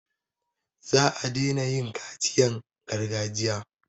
Za a daina yin kaciyan gargajiya.